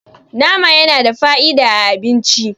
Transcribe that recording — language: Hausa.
nama yana da fa'ida a abinci